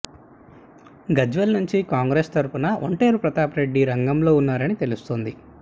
గజ్వేల్ నుంచి కాంగ్రెస్ తరపున ఒంటేరు ప్రతాపరెడ్డి రంగంలో ఉన్నారని తెలుస్తోంది